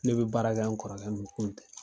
Ne be baara kɛ n kɔrɔkɛ min kun tɛ